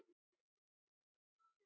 Og hafði betur.